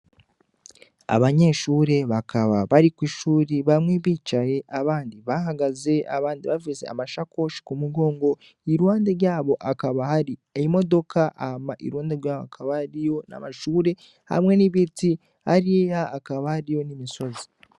Abanyeshure bakaba bari kwi shuri bamwe bicaye abandi bahagaze abandi bafise amashakoshi ku mugongo iruhande ryabo hakaba hari imodoka hama iruhande yaho hakaba hariyo n' amashure hamwe n' ibiti hariya hakaba hariyo n' imisozi.